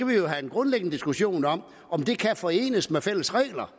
vi jo have en grundlæggende diskussion om om det kan forenes med fælles regler